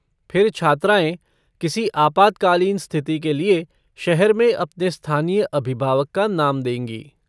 फिर छात्राएँ, किसी आपातकालीन स्तिथि के लिए, शहर में अपने स्थानीय अभिभावक का नाम देंगी।